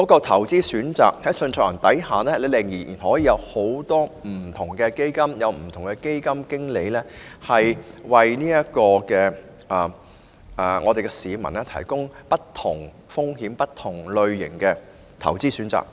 投資選擇方面，在單一受託人制度下，仍有很多不同的基金及基金經理，為市民提供不同風險及類型的投資選擇。